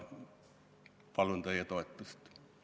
Palun teie toetust!